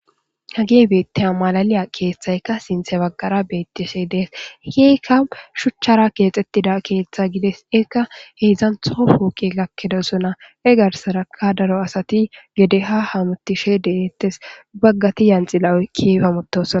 hage beettea malaliya keeththayka sinthe baggara beettishe dees keyka shuchchara keexxettida keeththe gides ekka heedzdzan tofooqi gakkedo sona egarsaraka daro asati gede ha hamutishe deettes baggati yanxila7oy kipamotosona